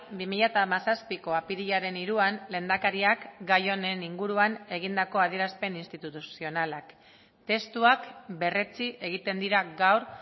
bi mila hamazazpiko apirilaren hiruan lehendakariak gai honen inguruan egindako adierazpen instituzionalak testuak berretsi egiten dira gaur